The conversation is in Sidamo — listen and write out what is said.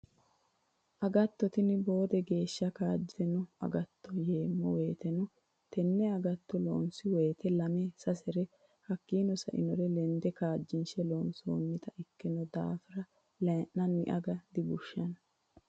Agatto tini boode geeshsha kaajjittano agattoti yeemmo woyteno tene agatto loonsi woyite lame sasere hakkino sa'nore lende kaajjinshe loonsonnite ikkino daafira layi'nanni aga dibushano.